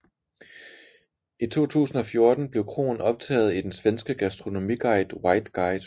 I 2014 blev kroen optaget i den svenske gastronomiguide White Guide